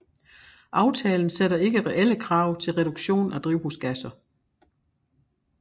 Aftalen sætter ikke reelle krav til reduktion af drivhusgasser